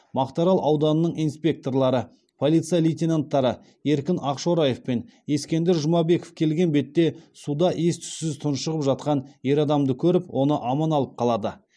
мақтаарал ауданының инспекторлары полиция лейтенанттары еркін ақшораев пен ескендір жұмабеков келген бетте суда ес түссіз тұншығып жатқан ер адамды көріп оны аман алып қалады